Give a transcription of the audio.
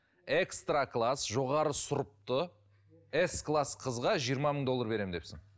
экстра класс жоғары сұрыпты ес класс қызға жиырма мың доллар беремін депсің